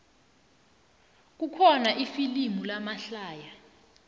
kukhona amafilimu lamahlaya